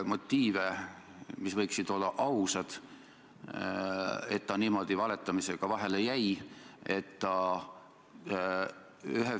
Poliitikud peavad pidevalt tegema teatavaid väärtusvalikuid, nii nagu inimesed elus üldse.